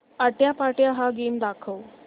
आट्यापाट्या हा गेम दाखव